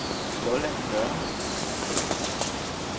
Lolland Nørre